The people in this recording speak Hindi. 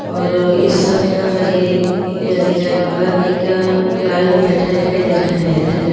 और इस हरे रही जगह पर एक लायन बेहटा दिखाई दे रहा हैं धन्यवा--